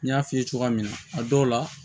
N y'a f'i ye cogoya min na a dɔw la